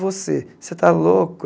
Você você está louco?